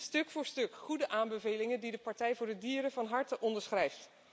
Stuk voor stuk goede aanbevelingen die de Partij voor de Dieren van harte onderschrijft.